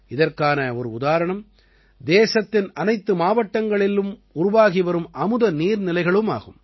இதற்கான ஒரு உதாரணம் தேசத்தின் அனைத்து மாவட்டங்களிலும் உருவாகி வரும் அமுத நீர்நிலைகளும் ஆகும்